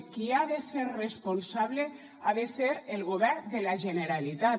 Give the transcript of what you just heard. qui ha de ser responsable ha de ser el govern de la generalitat